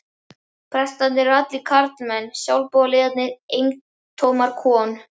Prestarnir eru allir karlmenn, sjálfboðaliðarnir eintómar kon